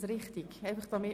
– Dies ist der Fall.